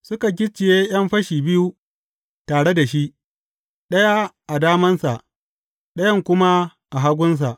Suka gicciye ’yan fashi biyu tare da shi, ɗaya a damansa, ɗayan kuma a hagunsa.